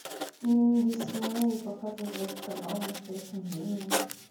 дисней показывать канал в настоящем времени